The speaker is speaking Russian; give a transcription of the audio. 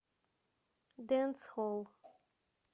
дэнсхолл